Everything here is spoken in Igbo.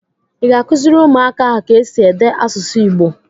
Ị ga-akụziri ụmụaka ahụ ka esi ede asụsụ Igbo?